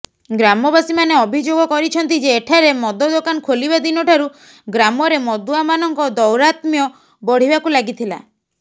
ଗ୍ରାମବାସୀମାନେ ଅଭିଯୋଗ କରିଛନ୍ତି ଯେ ଏଠାରେ ମଦ ଦୋକାନ ଖୋଲିବା ଦିନଠାରୁ ଗ୍ରାମରେ ମଦୁଆମାନଙ୍କ ଦୌରାତ୍ମ୍ୟ ବଢ଼ିବାକୁ ଲାଗିଥିଲା